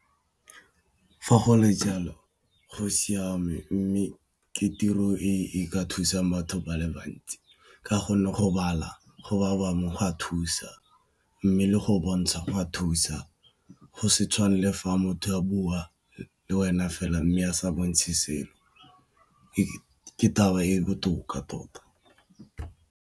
Fa go le jalo go siame mme ke tiro e ka thusang batho ba le bantsi ka gonne go bala go mo go a thusa mme le go bontsha go a thusa go se tshwane le fa motho a bua le wena fela mme a sa bontshe selo e ke taba e botoka tota.